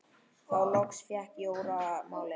Þá loks fékk Jóra málið.